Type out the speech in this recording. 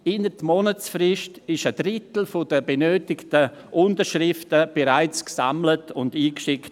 Innert Monatsfrist wurde ein Drittel der benötigten Unterschriften bereits gesammelt und eingeschickt.